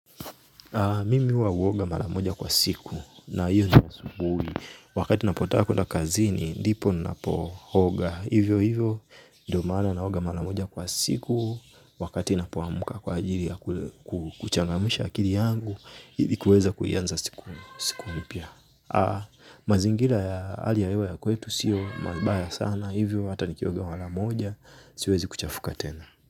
Mimi huwa huoga mara moja kwa siku na hiyo ni asubuhi. Wakati ninapotaka kuenda kazini, ndipo ninapooga. Hivyo hivyo, ndio maana naoga mara moja kwa siku. Wakati napoamka kwa ajili ya kuchangamsha akili yangu, ili kuweza kuianza siku mpya. Mazingira ya hali ya hewa ya kwetu siyo mabaya sana. Hivyo hata nikioga mara moja, siwezi kuchafuka tena.